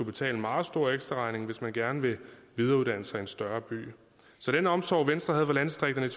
betale en meget stor ekstraregning hvis man gerne vil videreuddanne sig i en større by så den omsorg venstre havde for landdistrikterne